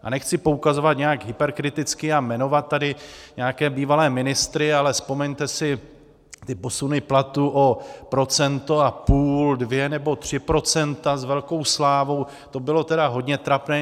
A nechci poukazovat nějak hyperkriticky a jmenovat tady nějaké bývalé ministry, ale vzpomeňte si, ty posuny platů o procento a půl, dvě nebo tři procenta s velkou slávou, to bylo tedy hodně trapné.